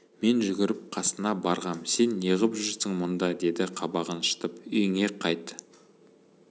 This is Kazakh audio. мен жүгіріп қасына барғам сен неғып жүрсің мұнда деді қабағын шытып үйіне қайт